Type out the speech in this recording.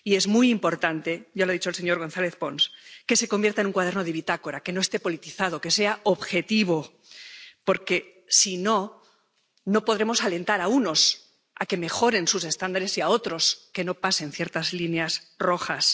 Es muy importante —ya lo ha dicho el señor González Pons— que se convierta en un cuaderno de bitácora, que no esté politizado, que sea objetivo, porque, si no, no podremos alentar a unos a que mejoren sus estándares y a otros a que no pasen ciertas líneas rojas.